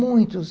Muitos.